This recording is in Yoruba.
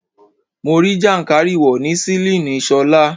Mo rí jàǹkárìwò ní sílíìnì Ṣọlá.